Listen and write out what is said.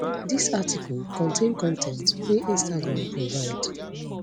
dis article contain con ten t wey instagram provide